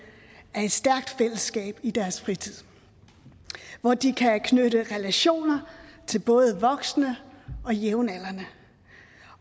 af et stærkt fællesskab i deres fritid hvor de kan knytte relationer til både voksne og jævnaldrende